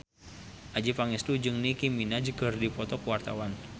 Adjie Pangestu jeung Nicky Minaj keur dipoto ku wartawan